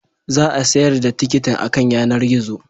Za a sayar da tikitin akan yanar gizo